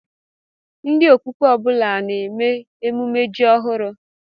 Ndị Okpukpe ọ bụla a na-eme emume ji ọhụrụ?